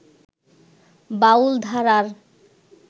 বাউল ধারার